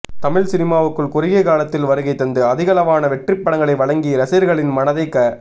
தமிழ் சினிமாவுக்குள் குறுகிய காலத்தில் வருகைதந்து அதிகளவான வெற்றிப்படங்களை வழங்கி ரசிகர்களின் மனதை க